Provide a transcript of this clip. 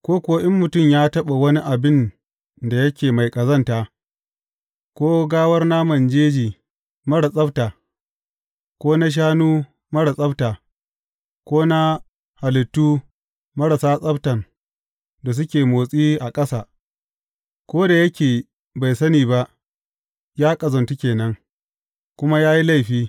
Ko kuwa in mutum ya taɓa wani abin da yake mai ƙazanta, ko gawar naman jeji marar tsabta, ko na shanu marar tsabta, ko na halittu marasa tsabtan da suke motsi a ƙasa; ko da yake bai sani ba, ya ƙazantu ke nan, kuma ya yi laifi.